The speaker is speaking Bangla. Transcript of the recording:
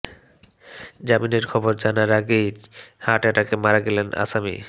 জামিনের খবর জানার আগেই হার্ট অ্যাটাকে মারা গেলেন আসামি